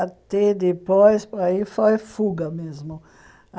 Até depois, aí foi fuga mesmo.